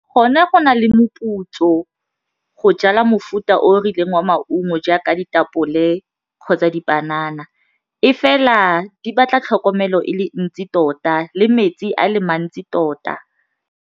Gone go na le moputso go jala mofuta o o rileng wa maungo jaaka ditapole kgotsa dipanana e fela di batla tlhokomelo e le ntsi tota le metsi a le mantsi tota.